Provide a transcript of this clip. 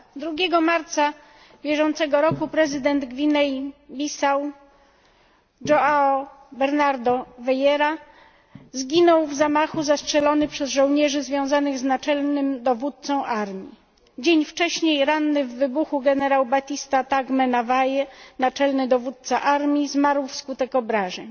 2 marca bieżącego roku prezydent Gwinei Bissau Joao Bernardo Vieira zginął w zamachu zastrzelony przez żołnierzy związanych z naczelnym dowódcą armii. Dzień wcześniej ranny w wybuchu generał Batista Tagme Na Waie, naczelny dowódca armii, zmarł wskutek obrażeń.